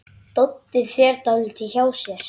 Doddi fer dálítið hjá sér.